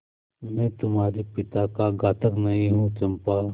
मैं तुम्हारे पिता का घातक नहीं हूँ चंपा